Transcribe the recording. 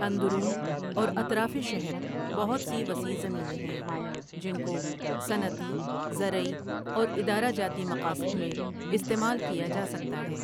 اندرون اور اطرافِ شہر بہت سی وسیع زمینیں ہیں جن کو صنعتی، زرعی اور ادرہ جاتی مقاصد میں استعمال کیا جا سکتا ہے ۔